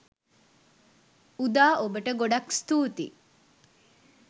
උදා ඔබට ගොඩක් ස්තුතියි